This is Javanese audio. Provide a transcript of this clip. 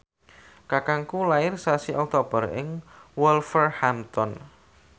kakangku lair sasi Oktober ing Wolverhampton